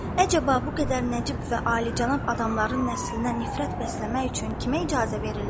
Əcaba, bu qədər nəcib və alicənab adamların nəslinə nifrət bəsləmək üçün kimə icazə verirlər?